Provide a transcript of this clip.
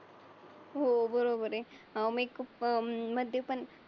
हो बरोबर आहे. अं मेकअप अं मंध्ये पण